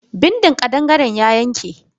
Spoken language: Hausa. Bindin kadangare ya yanke.